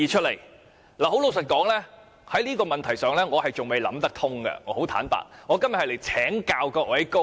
老實說，就這問題，我還仍然無法想得通，所以我今天想請教各位高明。